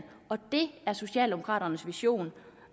det er socialdemokraternes vision